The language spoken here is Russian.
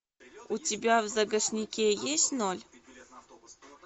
у тебя в загашнике есть ноль